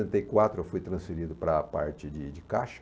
Setenta e quatro eu fui transferido para a parte de de de caixa.